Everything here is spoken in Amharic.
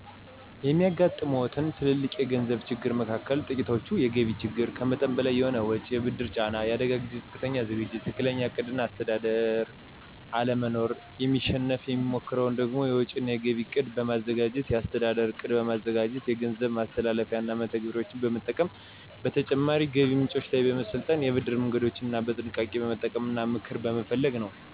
የሚያጋጥሙዎት ትልልቅ የገንዘብ ችግሮች መካከል ጥቂቶቹ፤ የገቢ ችግር፣ ከመጠን በላይ የሆነ ወጪ፣ የብድር ጫና፣ የአደጋ ጊዜ ዝቅተኛ ዝግጅት፣ ትክክለኛ ዕቅድ እና አስተዳደር አለመኖር ናቸው። ለማሸነፍ የምሞክረው ደግሞ፤ የወጪ እና የገቢ እቅድ በማዘጋጀት፣ የአስተዳደር ዕቅድ በማዘጋጀት፣ የገንዘብ ማስተላለፊያና መተግበሪያዎችን በመጠቀም፣ በተጨማሪ ገቢ ምንጮች ላይ በመሰልጠን፣ የብድር መንገዶችን በጥንቃቄ በመጠቀም እና ምክር በመፈለግ ነው።